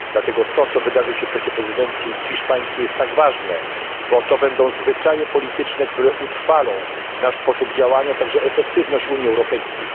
Dlatego to, co wydarzy się w czasie prezydencji hiszpańskiej, jest tak ważne, bo ustali zwyczaje polityczne, które utrwalą nasz sposób działania, a także efektywność Unii Europejskiej.